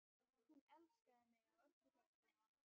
Hún elskaði mig af öllu hjarta.